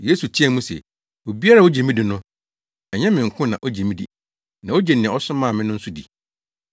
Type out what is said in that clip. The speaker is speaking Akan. Yesu teɛɛ mu se, “Obiara a ogye me di no, ɛnyɛ me nko na ogye me di, na ogye nea ɔsomaa me no nso di.